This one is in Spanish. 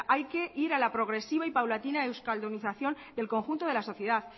hay que ir a la progresiva y paulatina euskaldunización del conjunto de la sociedad